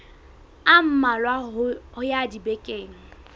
a mmalwa ho ya dibekeng